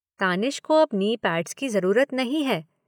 तानिश को अब knee pads की ज़रूरत नहीं है।